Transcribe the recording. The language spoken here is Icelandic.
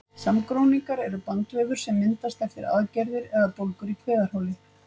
Samgróningar eru bandvefur sem myndast eftir aðgerðir eða bólgur í kviðarholi.